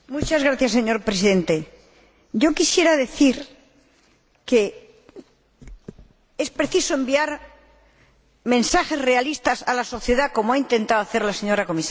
Señor Presidente, yo quisiera decir que es preciso enviar mensajes realistas a la sociedad, como ha intentado hacer la señora Comisaria.